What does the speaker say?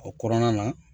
O kɔnɔna na